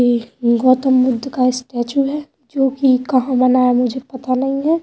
ये गौतम बुद्ध का स्टेचू है जोकि कहां बना है मुझे पता नहीं है।